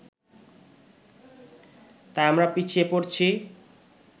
তাই আমরা পিছিয়ে পড়ছি